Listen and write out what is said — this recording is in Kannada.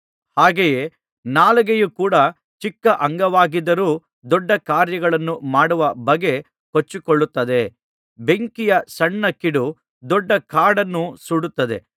ಹಾಗೆಯೇ ನಾಲಿಗೆಯು ಕೂಡ ಚಿಕ್ಕ ಅಂಗವಾಗಿದ್ದರೂ ದೊಡ್ಡ ಕಾರ್ಯಗಳನ್ನು ಮಾಡುವ ಬಗ್ಗೆ ಕೊಚ್ಚಿಕೊಳ್ಳುತ್ತದೆ ಬೆಂಕಿಯ ಸಣ್ಣ ಕಿಡಿ ದೊಡ್ಡ ಕಾಡನ್ನೂ ಸುಡುತ್ತದೆ